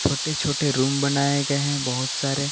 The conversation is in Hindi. छोटे छोटे रूम बनाए गए हैं बहुत सारे।